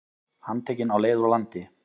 Handtekinn á leið úr landi